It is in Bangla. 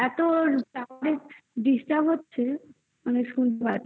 এত disturb হচ্ছে. মানে শুনতে পাচ্ছি